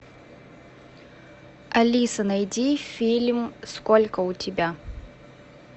алиса найди фильм сколько у тебя